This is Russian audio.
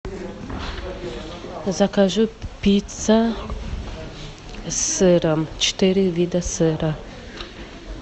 закажи пицца с сыром четыре вида сыра